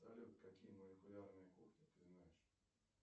салют какие молекулярные кухни ты знаешь